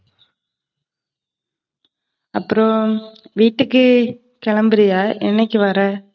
அப்பறம் வீட்டுக்கு கிளம்புறியா? என்னைக்கு வர?